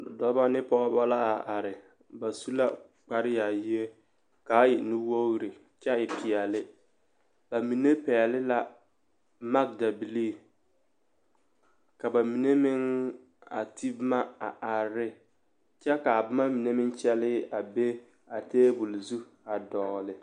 Dɔbɔ ne pɔɔbɔ la a are ba su la kparyaayie ka a e nuwoori kyɛ e peɛle ba mine pɛɡele la maɡedabilii ka ba mine meŋ a te boma a are ne kyɛ ka a boma mine meŋ kyɛllɛɛ be a teebul zu a dɔɔle.